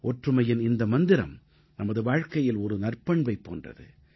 ஒற்றுமையின் இந்த மந்திரம் நமது வாழ்க்கையில் ஒரு நற்பண்பைப் போன்றது